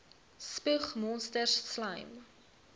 spoeg monsters slym